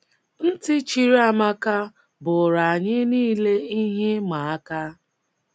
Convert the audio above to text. Ntị chiri Amaka bụụrụ um anyị nile ihe ịma aka.